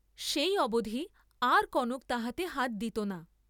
সেই অবধি আর কনক তাহাতে হাত দিত না।